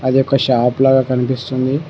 అది ఒక షాపు లాగా కనిపిస్తుంది.